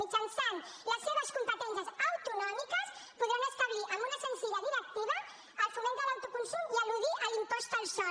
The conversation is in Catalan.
mitjançant les seves competències autonòmiques podran establir amb una senzilla directiva el foment de l’autoconsum i eludir l’impost al sol